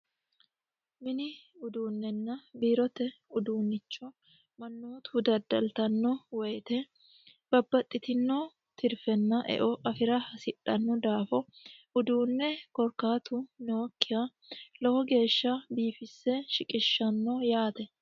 mini uduunnenna biirote uduunnicho mannootu daddaltanno wayite babbaxxitinoo tirfenna eo afira hasidhannu daafo uduunne korkaatu nookkiya lowo geeshsha biifisse shiqishshanno yaate